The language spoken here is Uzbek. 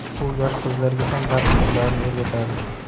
U yosh qizlarga ham raqs sirlarini o‘rgatadi.